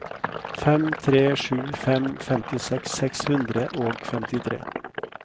fem tre sju fem femtiseks seks hundre og femtitre